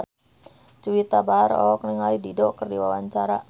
Juwita Bahar olohok ningali Dido keur diwawancara